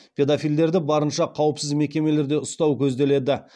педофилдерді барынша қауіпсіз мекемелерде ұстау көзделеді